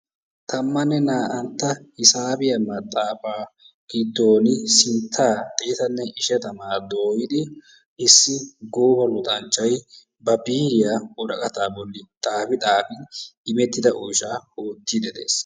Tammanne na"antta hisaabiyaa maxaafaa giddon sinttaa xeettanne ishshatamaa dooyidi issi gooba luxxanchchay ba biiriyaa woraqataa bolli xaafi xaafi immettida oosuwaa oottidi des.